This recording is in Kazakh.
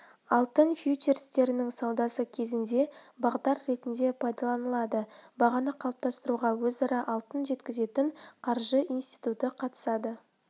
алтын фьючерстерінің саудасы кезінде бағдар ретінде пайдаланылады бағаны қалыптастыруға өзара алтын жеткізетін қаржы институты қатысады